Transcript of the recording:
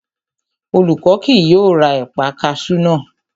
Olú kì yóò ra ẹ̀paa kaṣú náà